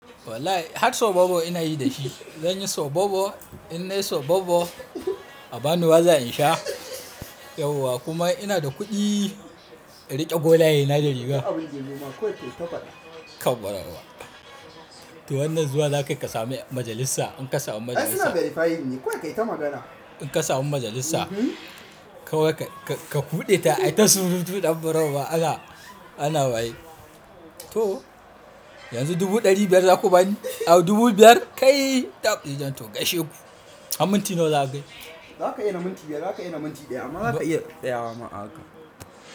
Wallahi har sobobo ina yi da shi. Zan yi sobobo, in nai sobobo a ba ni waza in sha, yauwa kuma ina da kuɗi in riƙe golaye na da riga. To wannan zuwa za ka yi ka sami majalisa. In ka samu majalisa- Ai suna verify yin ne. Kawai ka yi ta magana. In ka samu majalisa, kawai ka, ka buɗe ta ai ta surutu ɗan barau ba ana, ana bayi. To yanzu dubu ɗari biyar za ku bani, aww dubu biyar? Kai! To gaishe ku. Aminci nawa za ka yi? Za ka yi na minti biyar, za ka yi na minti ɗaya amma za ka- Zkaa iya tsaya wa ma haka.